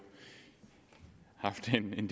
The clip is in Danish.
i en